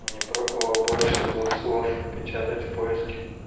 а не пробовала больше двух слов печатать в поиске